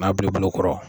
N'a bila bolo kɔrɔ